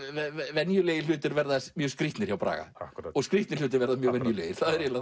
venjulegir hlutir verða mjög skrýtnir hjá Braga og skrýtnir hlutir verða mjög venjulegir það er eiginlega